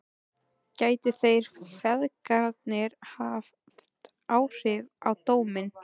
Gætu þeir feðgarnir haft áhrif á dóminn?